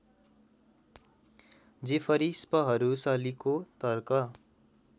Jeffrey स्पहरूसलीको तर्क